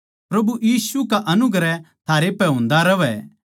प्रभु यीशु की अनुग्रह थारै पै होन्दी रहवै